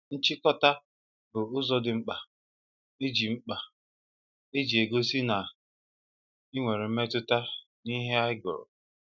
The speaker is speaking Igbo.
Nchịkọta bụ ụzọ dị mkpa eji mkpa eji egosi na ị nwere mmetụta n'ihe ị gụrụ